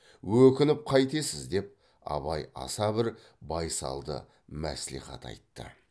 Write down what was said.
өкініп қайтесіз деп абай аса бір байсалды мәслихат айтты